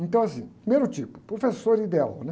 Então, assim, primeiro tipo, professor ideal, né?